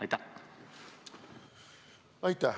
Aitäh!